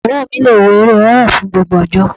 Ọ̀rẹ́ mi le wo eré horror fún gbogbo ọjọ́.